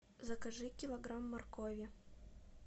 закажи килограмм моркови